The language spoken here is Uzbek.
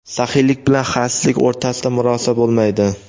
saxiylik bilan xasislik o‘rtasida murosa bo‘lmaydi.